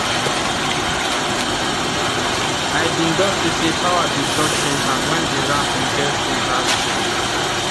i bin don see say power bin don change hand when the ram bin get wound last year